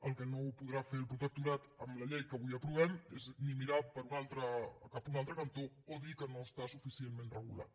el que no podrà fer el protectorat amb la llei que avui aprovem és ni mirar cap a un altre cantó ni dir que no està suficientment regulat